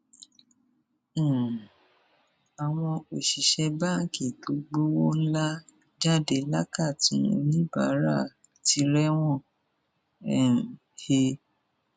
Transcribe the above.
um àwọn òṣìṣẹ báǹkì tó gbowó ńlá jáde lákàtún oníbàárà ti rẹwọn um he